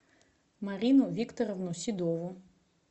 марину викторовну седову